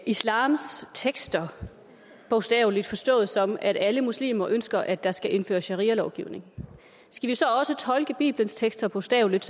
islams tekster bogstaveligt og forstår dem sådan at alle muslimer ønsker at der skal indføres sharialovgivning skal vi så også tolke bibelens tekster bogstaveligt